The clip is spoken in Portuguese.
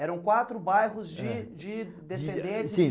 Eram quatro bairros de de descendentes